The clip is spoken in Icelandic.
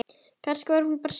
Kannski var hún bara syfjuð.